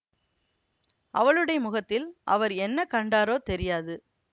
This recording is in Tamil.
அவளுடைய முகத்தில் அவர் என்ன கண்டாரோ தெரியாது